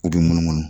U bɛ munumunu